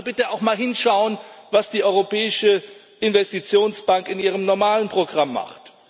Also Bitte auch mal hinschauen, was die Europäische Investitionsbank in ihrem normalen Programm macht.